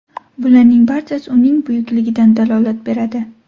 Bularning barchasi uning buyukligidan dalolat beradi.